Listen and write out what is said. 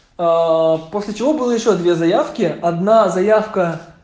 аа после чего было ещё две заявки одна заявка